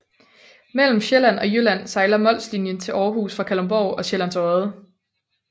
Mellem Sjælland og Jylland sejler Molslnjen til Aarhus fra Kalundborg og Sjællands Odde